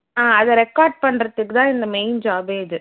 ஆஹ் அத record பண்ணுறதுக்கு தான் இந்த main job ஏ இது